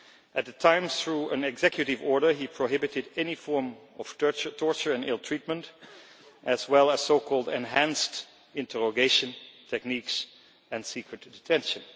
At the time, through an executive order, he prohibited any form of torture or ill treatment, as well as so called enhanced interrogation techniques' and secret detention.